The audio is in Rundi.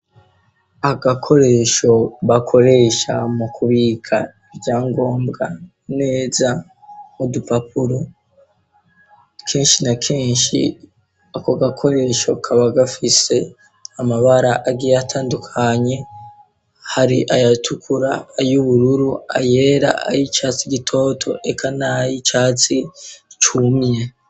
Agakoresho bakoresha mu kubika ivyangombwa neza mu dupapuro, kenshi na kenshi ako gakoresho kaba gafise amabara agiye atandukanye, hari ayatukura, ay'ubururu, ayera ay'icyatsi gitoto eka nay'icyatsi cumye.